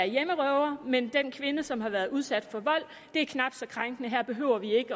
en hjemmerøver mens den kvinde som har været udsat for vold er knap så krænket her behøver vi